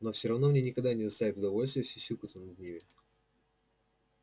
но всё равно мне никогда не доставит удовольствия сюсюкаться над ними